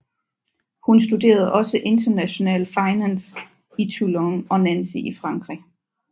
Hun studerede også International Finance i Toulon og Nancy i Frankrig